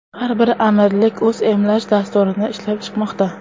Har bir amirlik o‘z emlash dasturini ishlab chiqmoqda.